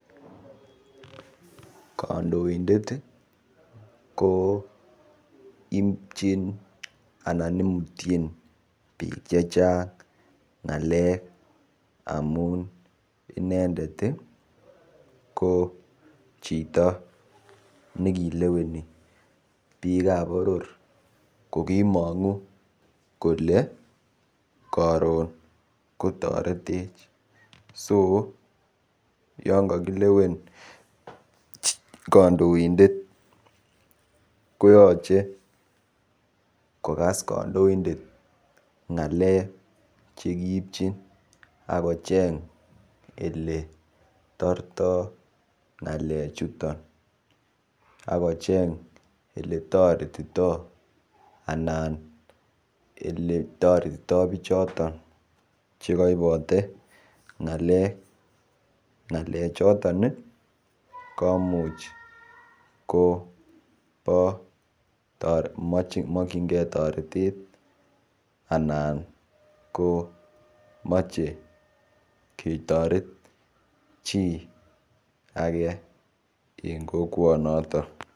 Kandoindet ko ipchin anan imutchin biik che chang ng'alek amun inendet ko chito nekileweni biik ap boror kokimongu kole karon kotoretech yon kakilewen kandoindet koyoche kokas kandoindet ng'alek chekiipchin akicheny ele tortoy ng'alek chuton akocheny oletoretitoy anan ole toretitoy bichoton chekaibote ng'alek, ng'alek choton komuch ko komokchingei toretet anan ko machei ketoret chi age eng kokwonotok.